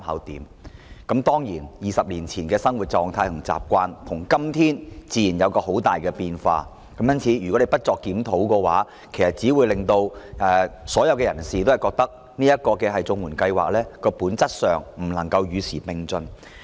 當然 ，20 年前的生活狀態和習慣與今天有很大的分別，因此，若政府不盡快就綜援進行檢討，其實只會令人認為綜援本質上不能與時並進。